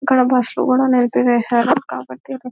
ఇక్కడ బస్సులు కూడా నిలిపివేసారు.కాబట్టి--